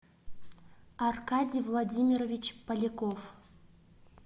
аркадий владимирович поляков